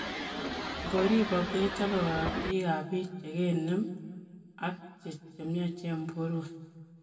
Koripact kechopee korotik ap piik chikenem ako chemnyachen porweek.